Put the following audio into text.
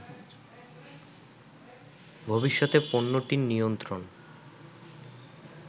ভবিষ্যতে পণ্যটির নিয়ন্ত্রণ